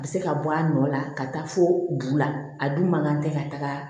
A bɛ se ka bɔ a nɔ la ka taa fo bu la a dun man kan tɛ ka taga